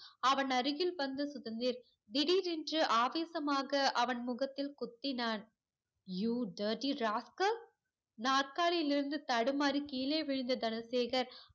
அவன் அருகில் வந்த சுதந்தீர் திடிரென்று ஆவேசமாக அவன் முகத்தில் குத்தினான் you dirty rascal நார்காலியில் இருந்து தடுமாறி கீழே விழுந்த தனசேகர்